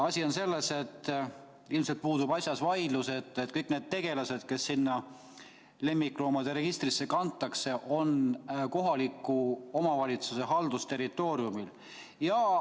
Asi on selles, et ilmselt puudub vaidlus, kas kõik need tegelased, kes sinna lemmikloomade registrisse kantakse, on kohaliku omavalitsuse haldusterritooriumil.